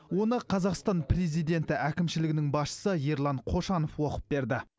оны қазақстан президенті әкімшілігінің басшысы ерлан қошанов оқып берді